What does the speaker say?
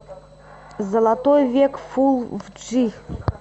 золотой век фулл в джи